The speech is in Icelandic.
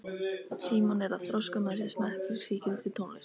Símon er að þroska með sér smekk fyrir sígildri tónlist.